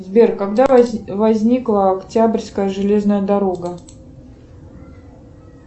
сбер когда возникла октябрьская железная дорога